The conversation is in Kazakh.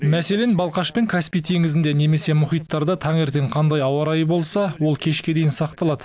мәселен балқаш пен каспий теңізінде немесе мұхиттарда таңертең қандай ауа райы болса ол кешке дейін сақталады